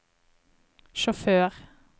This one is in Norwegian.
sjåfør